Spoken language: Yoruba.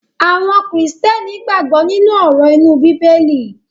Àwọn Kìrìtẹ́ẹ́nì gbàgbó nínú òrò imu bíbélì.